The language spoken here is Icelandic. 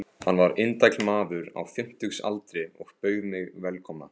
Hann var indæll maður á fimmtugsaldri og bauð mig velkomna.